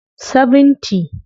70